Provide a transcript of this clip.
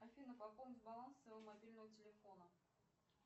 афина пополнить баланс своего мобильного телефона